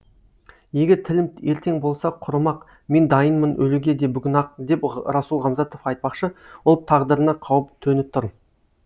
егер тілім ертең болса құрымақ мен дайынмын өлуге де бүгін ақ деп расул ғамзатов айтпақшы ұлт тағдырына қауіп төніп тұр